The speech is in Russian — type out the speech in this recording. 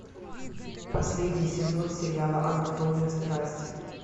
последний сезон сериала анатомия страсти